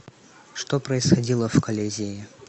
что происходило в колизее